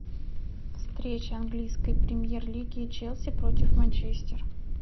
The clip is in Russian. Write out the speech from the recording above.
встреча английской премьер лиги челси против манчестер